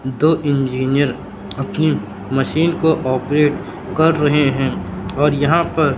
दो इंजीनियर अपनी मशीन को ऑपरेट कर रहे हैं और यहां पर--